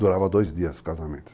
Durava dois dias o casamento.